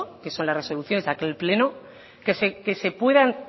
que son las resoluciones de aquel pleno que se puedan